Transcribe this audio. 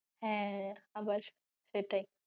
হ্যাঁ। আবার এটাই